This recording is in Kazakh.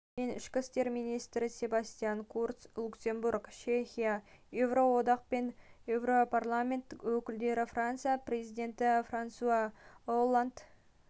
мен ішкі істер министрі себастьян курц люксембург чехия еуроодақ пен еуропарламент өкілдері франция президентіфрансуа олланд